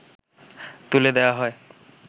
তুলে দেয়া হয়